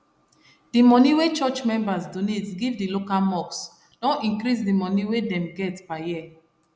d moni wey church members donate give d local mosque don increase the moni wey dem get per year